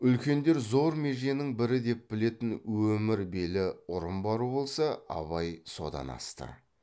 үлкендер зор меженің бірі деп білетін өмір белі ұрын бару болса абай содан асты